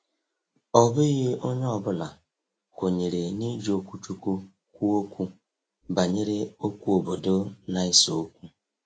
Ọ bụghị onye ọ bụla kwenyere n’iji okwuchukwu kwuo okwu banyere okwu obodo na-ese okwu.